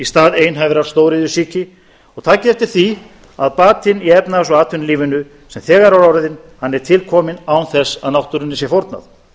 stað einhæfrar stóriðjusýki og takið eftir því að batinn í efnahags og atvinnulífinu sem þegar er orðinn er tilkominn án þess að náttúrunni sé fórnað